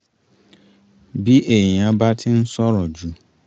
bí èèyàn bá ti ń sọ̀rọ̀ jù